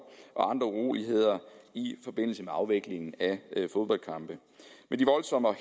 og andre uroligheder i forbindelse med afvikling af fodboldkampe men de voldsomme og